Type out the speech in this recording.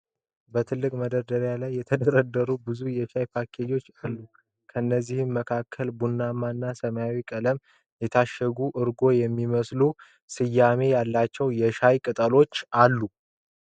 በትላልቅ መደርደሪያዎች ላይ የተደረደሩ ብዙ የሻይ ፓኬጆች አሉ። ከእነዚህም መካከል በቡናማ እና ሰማያዊ ቀለም የታሸጉ "ኦርጎ" የሚል ስም ያላቸው ሻይ አሉ።